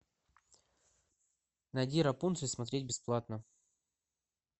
найди рапунцель смотреть бесплатно